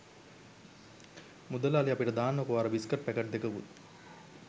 මුදලාලි අපිට දාන්නකෝ අර බිස්කට් පැකට් දෙකකුත්